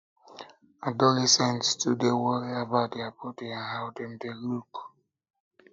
adolescents too dey worry about their bodi and how dem dey look